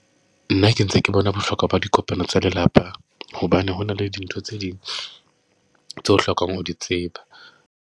Nna ke ntse ke bona bohlokwa ba dikopano tsa lelapa, hobane hona le dintho tse ding tse o hlokang ho di tseba.